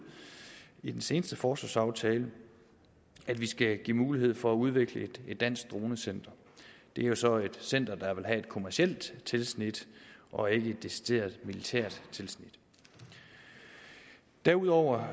i den seneste forsvarsaftale at vi skal give mulighed for at udvikle et dansk dronecenter det er jo så et center der vil have kommercielt tilsnit og ikke et decideret militært tilsnit derudover